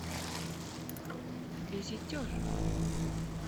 визитер